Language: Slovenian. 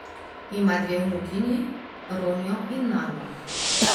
Ima dve vnukinji, Ronjo in Nano.